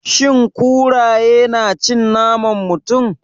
Shin kuraye na cin naman mutum?